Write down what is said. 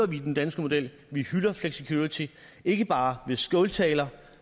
vi den danske model vi hylder flexicurity ikke bare ved skåltaler